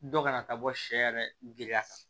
Dɔ kana taa bɔ sɛ yɛrɛ giriya kan